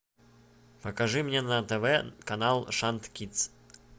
покажи мне на тв канал шант кидс